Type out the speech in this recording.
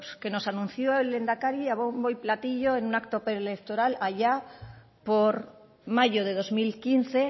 que nos anunció el lehendakari a bombo y platillo en un acto pre electoral allá por mayo de dos mil quince